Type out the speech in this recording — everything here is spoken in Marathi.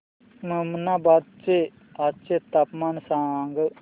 ममनाबाद चे आजचे तापमान सांग